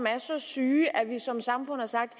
er så syge at vi som samfund har sagt